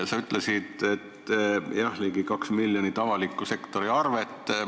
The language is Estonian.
Sa mainisid ligi 2 miljonit avaliku sektori arvet.